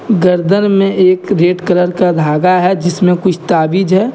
गर्दन में एक रेड कलर का धागा है जिसमे कुछ ताबीज है।